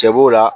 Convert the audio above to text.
Cɛ b'o la